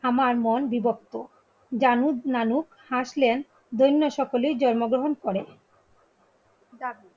আমার মন বিবর্ত. জানুদনানু, হাসলেন, দৈন্য সকলেই জন্মগ্রহণ করেন